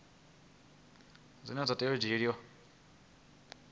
zwine zwa tea u dzhielwa